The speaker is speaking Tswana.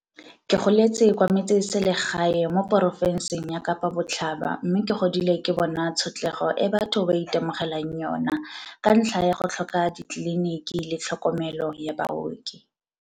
Ke goletse kwa metsesele gae mo porofenseng ya Kapa Botlhaba mme ke godile ke bona tshotlego e batho ba itemogelang yona ka ntlha ya go tlhoka ditleliniki le tlhokomelo ya baoki.